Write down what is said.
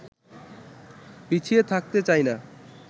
পিছিয়ে থাকতে চাইনা